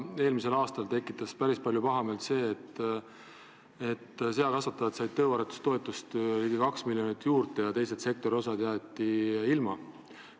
Eelmisel aastal tekitas päris palju pahameelt see, et seakasvatajad said ligi 2 miljonit tõuaretustoetust juurde ja sektori teised osad jäeti ilma.